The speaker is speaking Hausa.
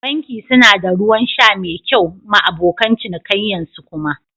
Banki suna da Ruwan sha mai kyau ma abokan cinikayyan su kuma